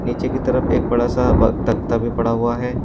नीचे की तरफ एक बड़ा सा दख्ता भी पड़ा हुआ है।